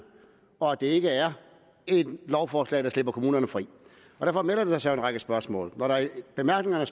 og at det ikke er et lovforslag der slipper kommunerne fri og derfor melder der sig en række spørgsmål når der i bemærkningerne